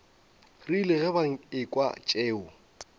rile ge ba ekwa tšeo